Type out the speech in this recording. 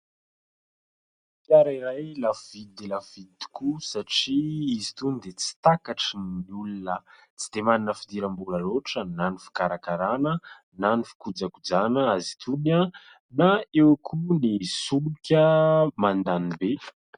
Fiara iray lafo vidy dia lafo vidy tokoa satria izy itony dia tsy takatry ny olona tsy dia manana fidiram-bola loatra na ny fikarakarana na ny fikojakojana azy itony na eo koa ny solika mandany be.